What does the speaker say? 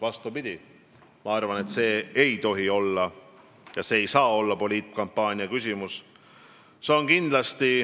Vastupidi, ma arvan, et see ei tohi olla ja see ei saa olla poliitkampaania küsimus.